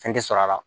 Fɛn tɛ sɔrɔ a la